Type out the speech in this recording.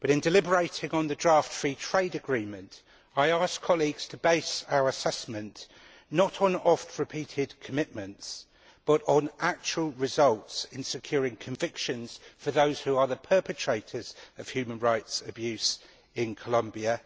However, in deliberating on the draft Free Trade Agreement, I ask colleagues to base our assessment not on oft repeated commitments, but on actual results in securing convictions for the perpetrators of human rights abuse in Colombia